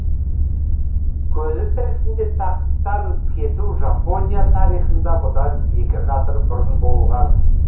көзі тірісінде тақтан кету жапония тарихында бұдан екі ғасыр бұрын болған